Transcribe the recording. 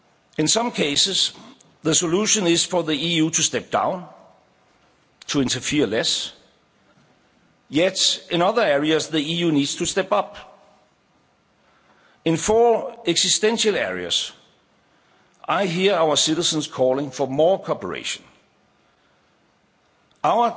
In some cases, the solution is for the EU to step down, to interfere less yet, in other areas, the EU needs to step up. In four existential areas, I hear our citizens calling for more cooperation.